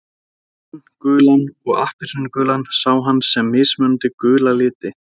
Grænan, gulan og appelsínugulan sá hann sem mismunandi gula liti.